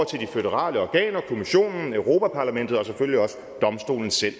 føderale organer kommissionen europa parlamentet og selvfølgelig også domstolen selv